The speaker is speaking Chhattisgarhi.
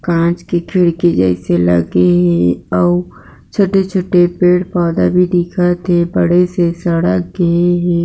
काँच की खिड़की जैसे लगे हे अउ छोटे-छोटे पेड़-पौधा भी दिखत थे बड़े से सड़क गे हे।